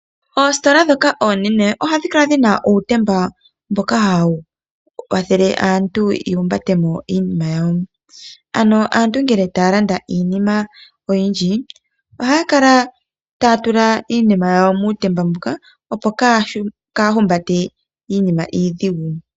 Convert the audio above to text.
Oositola ndhoka oonene ohadhi kala dhina uutemba mboka hawu kwathele aantu ya humbate mo iinima yawo. Ano aantu ngele taya landa iinima oyindji ohaya kala taya tula iinima yawo muutemba muka, opo kaaya humbate iinima iidhigu.